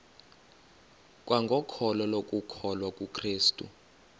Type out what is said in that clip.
kwangokholo lokukholwa kukrestu